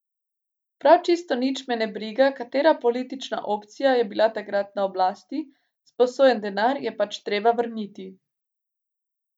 Prav čisto nič me ne briga, katera politična opcija je bila takrat na oblasti, sposojen denar je pač treba vrniti.